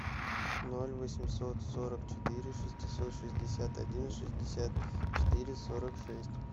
ноль восемьсот сорок четыре шестьсот шестьдесят один шестьдесят четыре сорок шесть